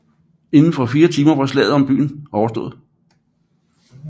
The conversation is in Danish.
Inden for fire timer var slaget om byen overstået